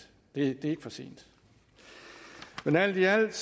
det er ikke for sent men alt i alt